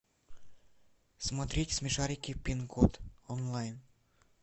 смотреть смешарики пин код онлайн